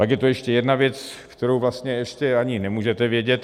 Pak je tu ještě jedna věc, kterou vlastně ještě ani nemůžete vědět.